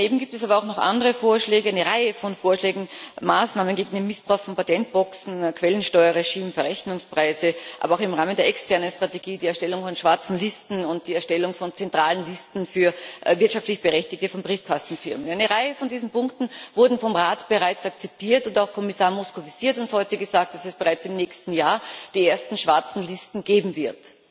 Daneben gibt es aber auch noch andere Vorschläge, eine Reihe von Vorschlägen und Maßnahmen gegen den Missbrauch von Patentboxen Quellensteuerregime, Verrechnungspreise, aber auch im Rahmen der externen Strategie die Erstellung von schwarzen Listen und die Erstellung von zentralen Listen für wirtschaftlich Berechtigte von Briefkastenfirmen. Eine Reihe dieser Punkte wurde vom Rat bereits akzeptiert, und auch Kommissar Moscovici hat uns heute gesagt, dass es bereits im nächsten Jahr die ersten schwarzen Listen geben wird.